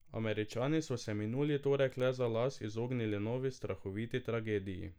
Američani so se minuli torek le za las izognili novi strahoviti tragediji.